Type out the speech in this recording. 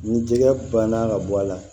Ni jɛgɛ banna ka bɔ a la